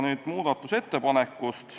Nüüd muudatusettepanekust.